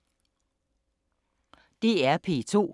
DR P2